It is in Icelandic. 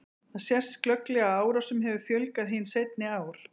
Þar sést glögglega að árásum hefur fjölgað hin seinni ár.